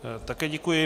Také děkuji.